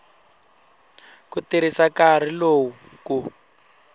ku tirhisa nkarhi lowu ku